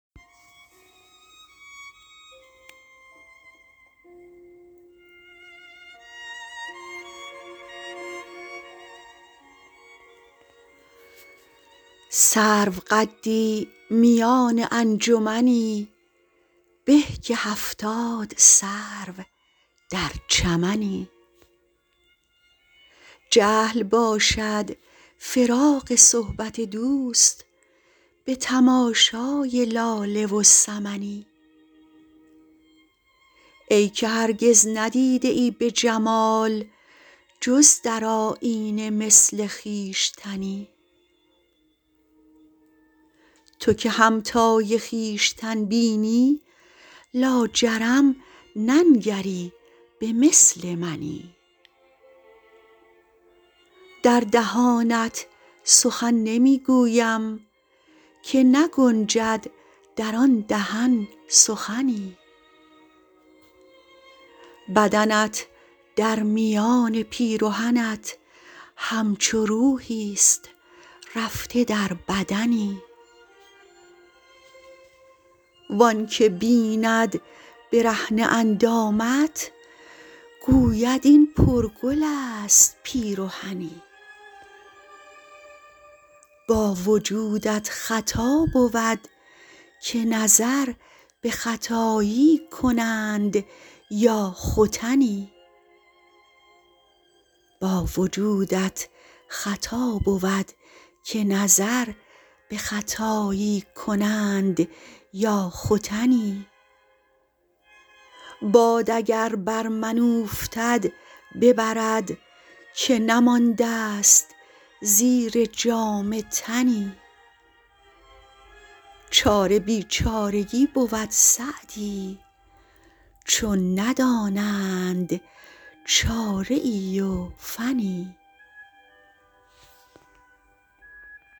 سروقدی میان انجمنی به که هفتاد سرو در چمنی جهل باشد فراق صحبت دوست به تماشای لاله و سمنی ای که هرگز ندیده ای به جمال جز در آیینه مثل خویشتنی تو که همتای خویشتن بینی لاجرم ننگری به مثل منی در دهانت سخن نمی گویم که نگنجد در آن دهن سخنی بدنت در میان پیرهنت همچو روحیست رفته در بدنی وآن که بیند برهنه اندامت گوید این پرگل است پیرهنی با وجودت خطا بود که نظر به ختایی کنند یا ختنی باد اگر بر من اوفتد ببرد که نمانده ست زیر جامه تنی چاره بیچارگی بود سعدی چون ندانند چاره ای و فنی